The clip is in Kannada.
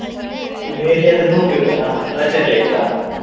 ಇನ್ನು ಎಲ್ಲಿ ಆದ್ರೂ ಹೋಗ್ಬೇಕ್ ಅಲ್ಲ ರಜೆ ಅಲ್ಲ ಈಗ.